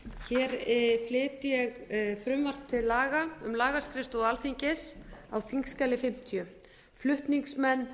flyt ég frumvarp til laga um lagaskrifstofu alþingis á þingskjali fimmtíu flutningsmenn